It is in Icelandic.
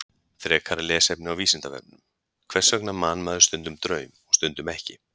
Frekara lesefni á Vísindavefnum: Hvers vegna man maður stundum draum og stundum ekki?